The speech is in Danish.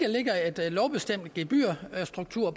lovbestemt gebyrstruktur